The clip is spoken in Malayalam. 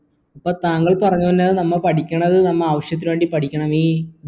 അപ്പൊ താങ്കൾ പറഞ്ഞ വരുന്നത് നമ്മ പഠിക്കണത് നമ്മ ആവശ്യത്തിനുവേണ്ടി പഠിക്കണമീ